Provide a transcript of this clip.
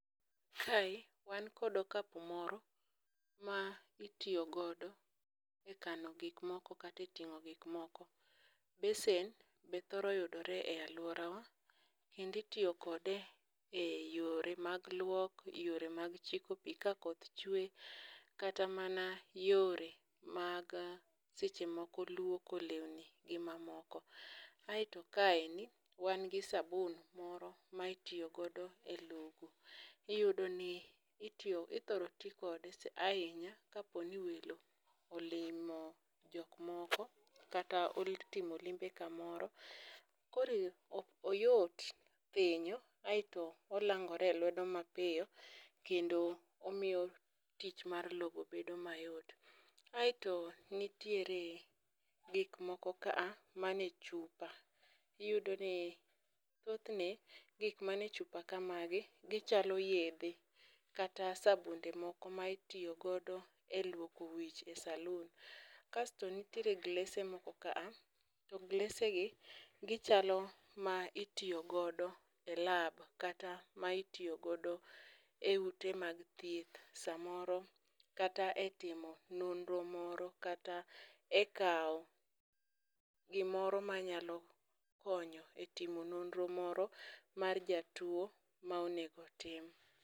Kae wan kod okapu moro, ma itiyo godo e kano gik moko kata e ting'o gik moko. Besen be thoro yudore e aluora wa, kendo itiyo kode e yore mag luok, yore mag chiko pi ka koth chwee. Kata mana yore mag sechemoko luoko lewni gi mamoko. Ae to kaeni, wan gi sabun moiro ma itoyo godo e logo, iyudo ni ithoro ti kode ahinya kapo ni welo olimo jok moko, kata otimo limbe kamoro. Koro oyot thinyo aeto onangore e lwedo mapiyo kendo omiyo tich mar logo bedo mayot. Aeto nitiere gikmoko ka man e chupa, iyudo ni thothne gik man e chupa kamagi gichalo yethe kata sabunde moko mitoyo godo e luoko wich e saloon. Kasto nitiere glese moko kaa to glese gi gichalo ma itiyo godo e lab kata ma itoyo godo e ute mag thieth, samoro kata e timo nonro moro katae kao gimoro manyalo konyo e timo nonro moro mar jatuo ma onego tim.